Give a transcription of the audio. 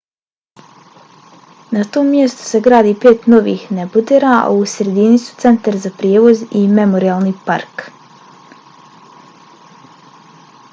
na tom mjestu se gradi pet novih nebodera a u sredini su centar za prijevoz i memorijalni park